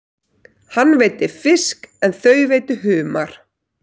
Hann veiddi fisk en þau veiddu humar.